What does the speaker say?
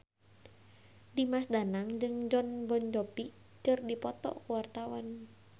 Dimas Danang jeung Jon Bon Jovi keur dipoto ku wartawan